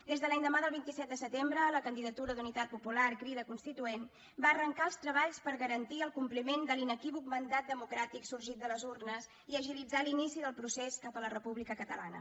des de l’endemà del vint set de setembre la candidatura d’unitat popular crida constituent va arrencar els treballs per garantir el compliment de l’inequívoc mandat democràtic sorgit de les urnes i agilitzar l’inici del procés cap a la república catalana